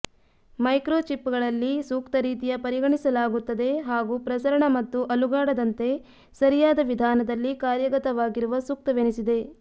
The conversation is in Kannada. ಮೈಕ್ರೋಚಿಪ್ಗಳಲ್ಲಿ ಸೂಕ್ತ ರೀತಿಯ ಪರಿಗಣಿಸಲಾಗುತ್ತದೆ ಹಾಗೂ ಪ್ರಸರಣ ಮತ್ತು ಅಲುಗಾಡದಂತೆ ಸರಿಯಾದ ವಿಧಾನದಲ್ಲಿ ಕಾರ್ಯಗತವಾಗಿರುವ ಸೂಕ್ತವೆನಿಸಿದೆ